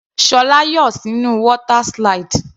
Ṣọlá yọ sínú water slide.